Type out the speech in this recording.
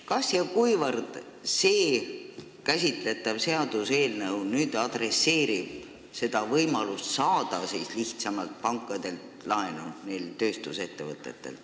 Kas ja kuivõrd käsitletav seaduseelnõu adresseerib võimalust neil tööstusettevõtetel pankadelt lihtsamalt laenu saada?